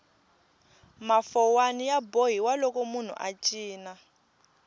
mafowani ya bohiwa loko munhu a cina